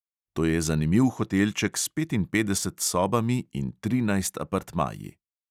To je zanimiv hotelček s petinpetdesetimi sobami in trinajst apartmaji.